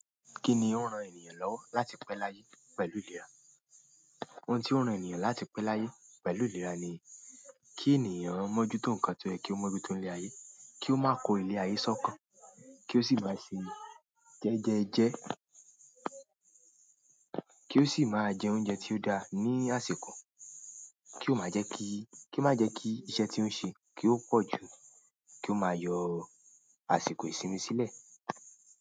Kí ni ó ń ran ènìyàn lọ́wọ́ láti pẹ́ láyé pẹ̀lú ìlera? Ohun tó ń ran ènìyàn láti pẹ́ láyé pẹ̀lú ìlera ni kí ènìyàn mọ́jútó nǹkan tó yẹ, kí ó mójútó nílé ayé, kí ó máa kó ilé ayé sọ́kàn, kí ó sì máa ṣe jẹ́jẹ́jẹ́, kí ó sì máa jẹ oúnjẹ tí ó dáa ní àsìkò, kí ó má jẹ kí, kí ó má jẹ kí iṣẹ́ tí ó ń ṣe kí ó pọ̀ jù, kí ó máa yọ̀ àsìkò ìsinmi sílẹ̀.